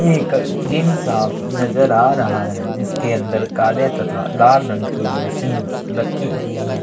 ये एक जिम सा नज़र आ रहा है जिसके अंदर काले तथा लाल रंग की मशीन रखी हुई है।